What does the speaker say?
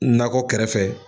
Nakɔ kɛrɛ fɛ.